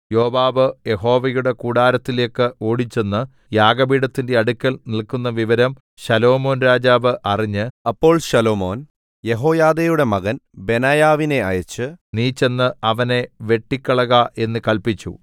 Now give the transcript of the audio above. യോവാബ് യഹോവയുടെ കൂടാരത്തിലേക്ക് ഓടിച്ചെന്ന് യാഗപീഠത്തിന്റെ അടുക്കൽ നില്ക്കുന്ന വിവരം ശലോമോൻ രാജാവ് അറിഞ്ഞ് അപ്പോൾ ശലോമോൻ യെഹോയാദയുടെ മകൻ ബെനായാവിനെ അയച്ച് നീ ചെന്ന് അവനെ വെട്ടിക്കളക എന്ന് കല്പിച്ചു